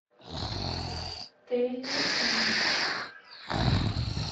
трейлеры фильмов